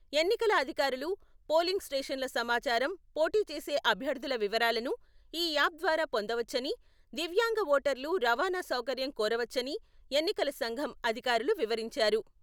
ఎన్నికల అధికారులు, పోలింగ్ స్టేషన్ల సమాచారం, పోటీచేసే అభ్యర్థుల వివరాలను ఈ యాప్ ద్వారా పొందవచ్చని, దివ్యాంగ ఓటర్లు రవాణా సౌకర్యం కోరవచ్చని ఎన్నికల సంఘం అధికారులు వివరించారు.